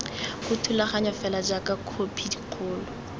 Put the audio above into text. ga thulaganyo fela jaaka khopikgolo